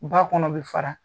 Ba kɔnɔ bɛ fara